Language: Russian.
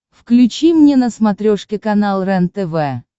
включи мне на смотрешке канал рентв